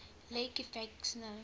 lake effect snow